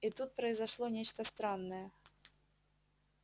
и тут произошло нечто странное